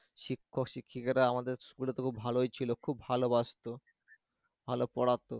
শিক্ষক-শিক্ষিকারা আমাদের school এ তবু ভালোই ছিল খুব ভালোবাসতো, ভালো পড়াতো